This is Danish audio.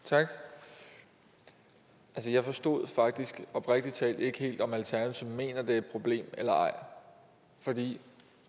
tak jeg forstod faktisk oprigtig talt ikke helt om alternativet mener det er et problem eller ej